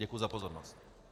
Děkuji za pozornost.